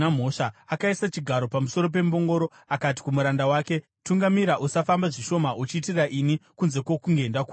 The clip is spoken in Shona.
Akaisa chigaro pamusoro pembongoro akati kumuranda wake, “Tungamira; usafamba zvishoma uchiitira ini kunze kwokunge ndakuudza.”